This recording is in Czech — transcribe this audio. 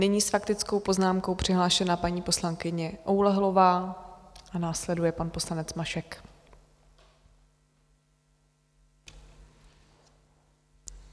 Nyní s faktickou poznámkou přihlášená paní poslankyně Oulehlová a následuje pan poslanec Mašek.